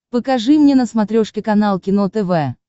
покажи мне на смотрешке канал кино тв